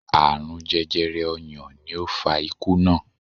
Aarun jẹjẹrẹ ọyàn ni ó fa ikú naa